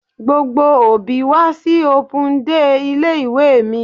Gbogbo òbí wá sí open day ilé ìwé mi.